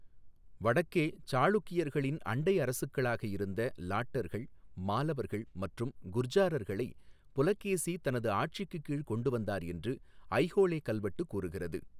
வடக்கே சாளுக்கியர்களின் அண்டை அரசுக்களாக இருந்த லாட்டர்கள், மாலவர்கள் மற்றும் குர்ஜாரர்களை புலகேசி தனது ஆட்சிக்குக் கீழ் கொண்டுவந்தார் என்று ஐஹோலே கல்வெட்டு கூறுகிறது.